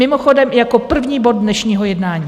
Mimochodem - jako první bod dnešního jednání.